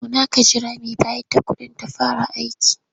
Zauna ka jira mai bayar da kuɗin ta fara aiki.